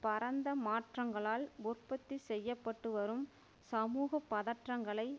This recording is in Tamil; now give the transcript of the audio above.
பரந்த மாற்றங்களால் உற்பத்தி செய்யப்பட்டுவரும் சமூக பதட்டங்களை